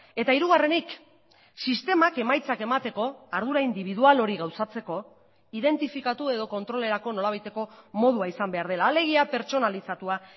eta hirugarrenik sistemak emaitzak emateko ardura indibidual hori gauzatzeko identifikatu edo kontrolerako nolabaiteko modua izan behar dela alegia pertsonalizatua